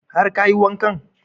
Har kayi wanka?